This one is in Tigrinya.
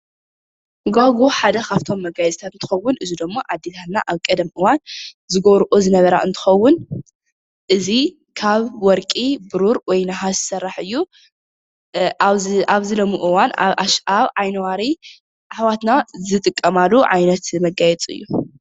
ገዋግው ሓደ ካብቶም መጋየፂታት እንትከውን እዚ ድማ ኣዴታትና ኣብ ቀደም እዋን ዝገብረኦ ዝነበራ እንትከውን እዚ ካብ ወርቂ ፣ቡሩር፣ ወይ ነሃስ ዝስራሕ እዩ። ኣብዚ ሎሚ እዋን ኣብ ኣሸንዳ ዓይኒዋሪ ኣሕዋትና ዝጥቀማሉ ዓይነት መጋየፂ እዩ፡፡